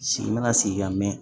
Sigi mana sigi ka mɛn